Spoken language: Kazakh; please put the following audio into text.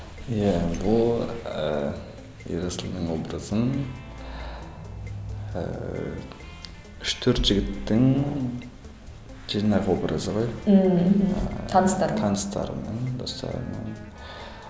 иә бұл ыыы ерасылдың образын ыыы үш төрт жігіттің жинақ образы ғой ммм мхм таныстардың таныстарымның достарымның